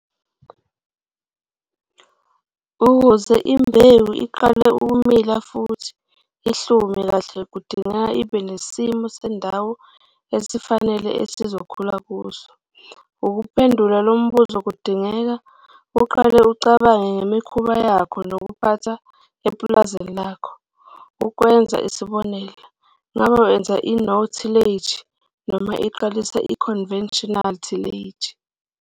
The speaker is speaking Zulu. Ukuze imbewu iqale ukumila futhi ihlume kahle kudingeka ibe nesimo sendawo esifanele ezokhula kuso. Ukuphendula lo mbuzo kudingeka uqale ucabange ngemikhuba yakho yokuphatha epulazini lakho. Ukwenza isibonelo, ngabe wenza i-no-tillage noma iqalisa i-conventional tillage?